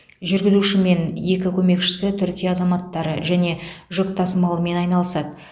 жүргізуші мен екі көмекшісі түркия азаматтары және жүк тасымалымен айналысады